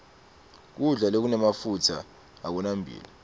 kudla lokunemafutsa akunamphilo